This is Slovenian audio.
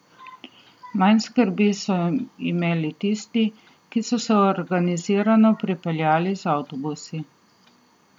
Manj skrbi so imeli tisti, ki so se organizirano pripeljali z avtobusi.